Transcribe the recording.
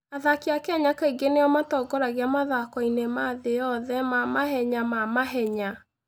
Athaki a Kenya kaingĩ nĩo matongoragia mathako-inĩ ma thĩ yothe ma mahenya ma mahenya.